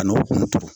A n'o kun